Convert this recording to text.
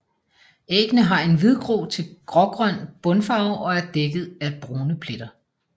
Æggene har en hvidgrå til grågrøn bundfarve og er dækket af brune pletter